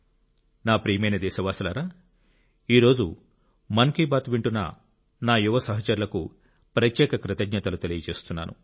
నా ప్రియమైన దేశవాసులారా ఈ రోజు మన్ కీ బాత్ వింటున్న నా యువ సహచరులకు ప్రత్యేక కృతజ్ఞతలు తెలియజేస్తున్నాను